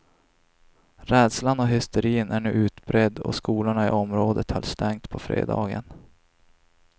Rädslan och hysterin är nu utbredd och skolorna i området höll stängt på fredagen.